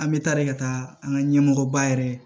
An bɛ taa de ka taa an ka ɲɛmɔgɔba yɛrɛ